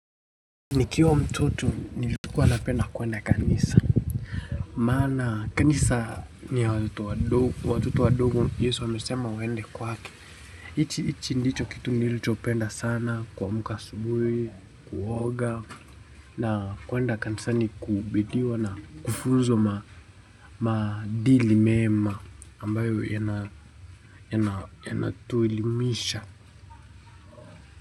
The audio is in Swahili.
Nikiwa mtoto nilikuwa napenda kuenda kanisa. Maana kanisa ni watoto wadogo. Yesu amesema waende kwake. Ichi ndicho kitu nilichopenda sana kuamuka asubuhi, kuoga. Na kuenda kanisani kubidiwa na kufunzwa madili mema ambayo yanatuelimisha.